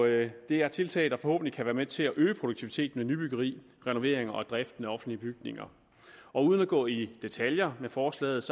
det er tiltag der forhåbentlig kan være med til at øge produktiviteten af nybyggeri renovering og driften af offentlige bygninger uden at gå i detaljer med forslaget